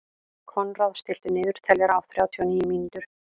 Konráð, stilltu niðurteljara á þrjátíu og níu mínútur.